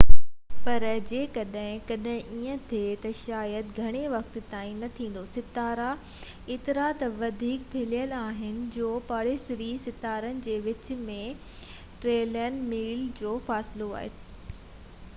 پر جيڪڏهن ڪڏهن ايئن ٿئي ته شايد گهڻي وقت تائين نه ٿيندو ستارا ايترا ته وڌيڪ ڦهليل آهن جو پاڙيسري ستارن جي وچ ۾ ٽريلين ميل جو فاصلو آهي